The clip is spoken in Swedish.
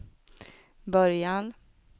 början